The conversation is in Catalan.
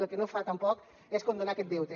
el que no fa tampoc és condonar aquest deute